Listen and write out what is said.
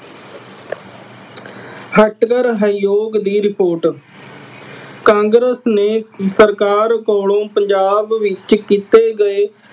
ਹੱਟਕਰ ਆਯੋਗ ਦੀ ਰਿਪੋਰਟ- ਕਾਂਗਰਸ ਨੇ ਸਰਕਾਰ ਕੋਲੋਂ ਪੰਜਾਬ ਵਿੱਚ ਕੀਤੇ ਗਏ।